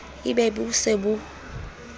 e be bo se bo